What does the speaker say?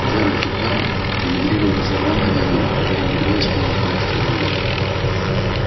джералд охара эмигрировал из ирландии в америку когда ему два исполнилось двадцать один год